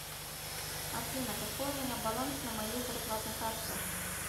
афина какой у меня баланс на моей зарплатной карте